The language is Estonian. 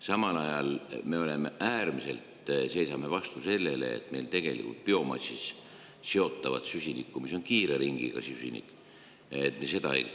Samal ajal seisame me äärmiselt vastu biomassist seotava süsiniku kasutamisele, mis on kiire süsinik.